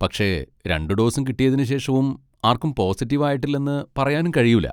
പക്ഷെ രണ്ട് ഡോസും കിട്ടിയതിന് ശേഷവും ആർക്കും പോസിറ്റീവ് ആയിട്ടില്ലെന്ന് പറയാനും കഴിയൂല.